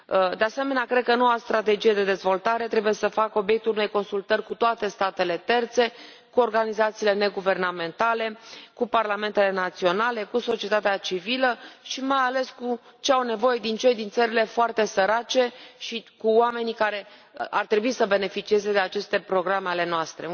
De asemenea, cred că noua strategie de dezvoltare trebuie să facă obiectul unei consultări cu toate statele terțe, cu organizațiile neguvernamentale, cu parlamentele naționale, cu societatea civilă și, mai ales, cu ce au nevoie cei din țările foarte sărace și cu oamenii care ar trebui să beneficieze de aceste programe ale noastre.